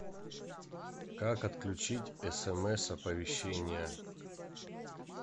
как отключить смс оповещение